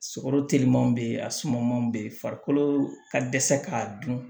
Sogo telimanw be ye a sumanw be yen farikolo ka dɛsɛ k'a dun